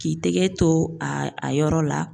K'i tɛgɛ to a a yɔrɔ la